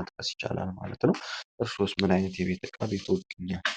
ማለት ነው ይቻላል ማለት ነው ምንምን ዓይነት የቤት ዕቃ በቤቶች ውስጥ ይገኛል?